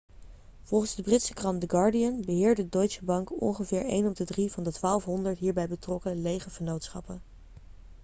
volgens de britse krant the guardian beheerde deutsche bank ongeveer een op de drie van de 1200 hierbij betrokken lege vennootschappen